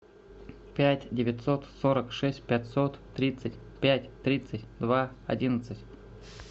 пять девятьсот сорок шесть пятьсот тридцать пять тридцать два одиннадцать